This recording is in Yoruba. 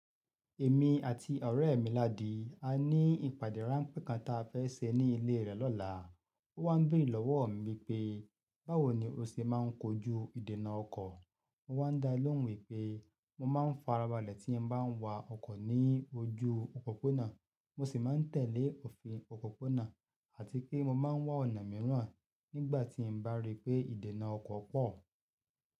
Èmi àti ọ̀rẹ́ mi Ládi a ní ìpàdé ráńpẹ́ kan ta fẹ́ ṣe ní ilé rẹ̀ lọ́la. Ó wá béèrè lọ́wọ́ mi pé báwo ni ó ṣe má ń kojú ìdènà ọkọ̀. Mo wá dá lóhùn wípé mo máa ń farabalẹ̀ tí mo bá ń wa ọkọ̀ ní ojú òpópónà. Mo sì máa ń tẹ̀lé òfin òpópónà àti pé mo máa ń wá ọ̀nà mìíràn nígbà tí mo bá rí pé ìdènà ọkọ̀ pọ̀.